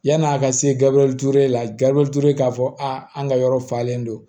Yan'a ka se gabelu ture la gabriel ture k'a fɔ an ka yɔrɔ falen don